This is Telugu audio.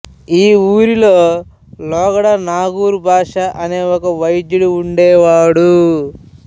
ఈ ఊరిలో లోగడ నాగూర్ బాష అనే ఒక వైద్యుధు ఉండేవాడు